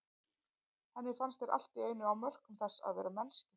Henni fannst þeir allt í einu á mörkum þess að vera mennskir.